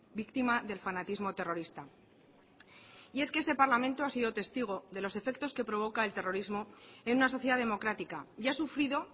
víctima del fanatismo terrorista y es que este parlamento ha sido testigo de los efectos que provoca el terrorismo en una sociedad democrática y ha sufrido